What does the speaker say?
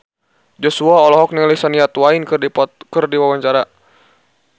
Joshua olohok ningali Shania Twain keur diwawancara